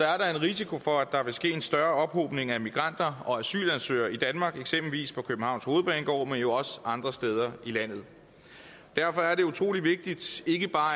er der en risiko for at der vil ske en større ophobning af migranter og asylansøgere i danmark eksempelvis på københavns hovedbanegård men også andre steder i landet derfor er det utrolig vigtigt at ikke bare